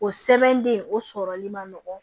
O sɛbɛnden o sɔrɔli man nɔgɔn